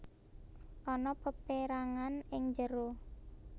Ana peperangan ing njero